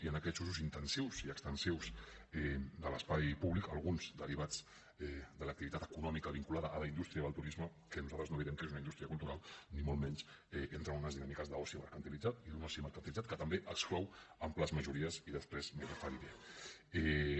i en aquests usos intensius i extensius de l’espai públic alguns derivats de l’activitat econòmica vinculada a la indústria del turisme que nosaltres no direm que és una indústria cultural ni molt menys entren unes dinàmiques d’oci mercantilitzat i d’un oci mercantilitzat que també exclou amples majories i després m’hi referiré